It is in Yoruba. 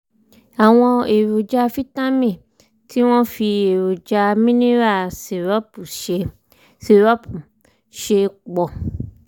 àwọn èròjà fítámì tí wọ́n fi èròjà mineral sírópù ṣe sírópù ṣe pọ̀